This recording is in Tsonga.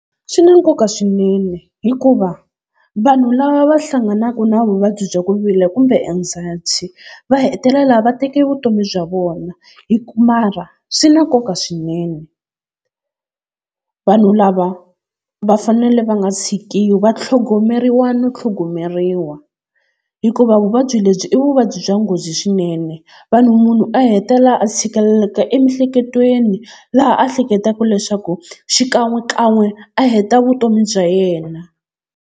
Swi na nkoka swinene hikuva vanhu lava va hlanganaka na vuvabyi bya ku vilela kumbe anxiety va hetelela va teke vutomi bya vona mara swi na nkoka swinene. Vanhu lava va fanele va nga tshikiwi va tlhogomeriwa no tlhogomeriwa hikuva vuvabyi lebyi i vuvabyi bya nghozi swinene. Vanhu munhu a hetelela a tshikeleleka emiehleketweni laha a ehleketaka leswaku xikan'we kan'we a heta vutomi bya yena.